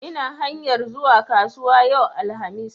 Ina hanyar zuwa kasuwa yau, alhamis